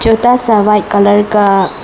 छोटा सा white colour का--